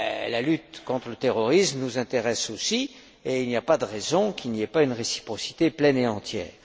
La lutte contre le terrorisme nous intéresse aussi et il n'y a pas de raison qu'il n'y ait pas de réciprocité pleine et entière.